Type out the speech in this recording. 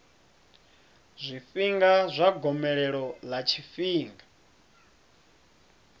zwifhinga zwa gomelelo ḽa tshifhinga